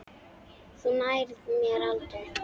Þú nærð mér aldrei!